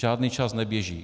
Žádný čas neběží.